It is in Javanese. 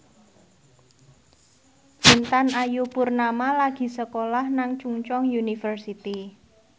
Intan Ayu Purnama lagi sekolah nang Chungceong University